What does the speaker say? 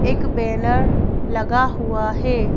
एक बैनर लगा हुआ है।